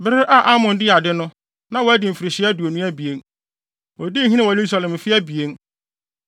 Bere a Amon dii ade no, na wadi mfirihyia aduonu abien. Odii hene wɔ Yerusalem mfe abien.